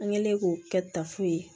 An kɛlen k'o kɛ tafu ye